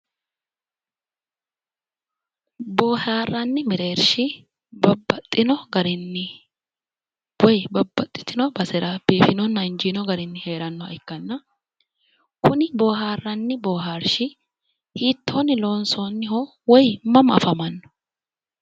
Boohaarranni mereershi babbaxino garinni woy babbaxxitino basera biifinonna injiino garinni heerannoha ikkanna kuni boohaarranni boohaarshi hiittoonni loonsoonniho woy mama afamanno